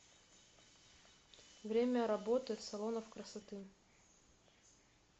время работы салонов красоты